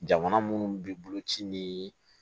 Jamana munnu bɛ bolo ci ni